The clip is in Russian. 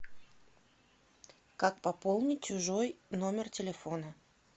как пополнить чужой номер телефона